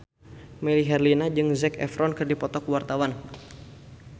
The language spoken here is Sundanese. Melly Herlina jeung Zac Efron keur dipoto ku wartawan